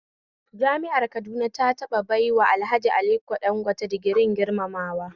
Jami'ar Kaduna ta taɓa baiwa Alhaji Aliko Dangote digirin girmamawa